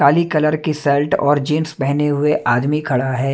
काली colour की shirt और jeans पहने हुए आदमी खड़ा है।